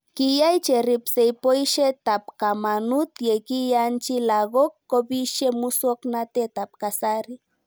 Kiyai cheripsei poishet ab kamanut ye kiyanchi lakok kopishe muswog'natet ab kasari